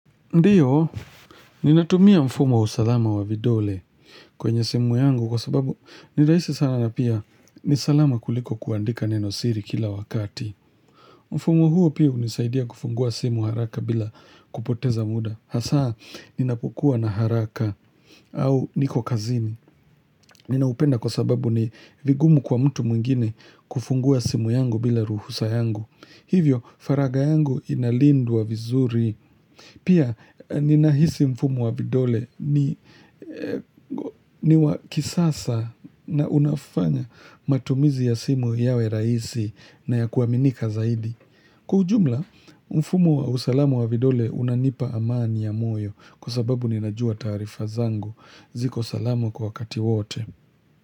Ndiyo, ninatumia mfumo wa usalama wa vidole kwenye simu yangu kwa sababu ni raisi sana na pia ni salama kuliko kuandika nenosiri kila wakati. Mfumo huo pia hunisaidia kufungua simu haraka bila kupoteza muda. Hasaa, ninapokuwa na haraka au niko kazini. Ninaupenda kwa sababu ni vigumu kwa mtu mwingine kufungua simu yangu bila ruhusa yangu. Hivyo, faragha yangu inalindwa vizuri. Pia ninahisi mfumo wa vidole ni wa kisasa na unafanya matumizi ya simu yawe raisi na ya kuaminika zaidi. Kwa ujumla, mfumo wa usalamu wa vidole unanipa amani ya moyo kwa sababu ninajua taarifa zangu. Ziko salamu kwa wakati wote.